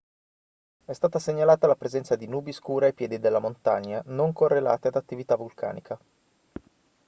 è stata segnalata la presenza di nubi scure ai piedi della montagna non correlate ad attività vulcanica